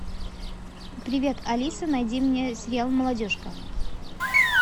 привет алиса найди мне сериал молодежка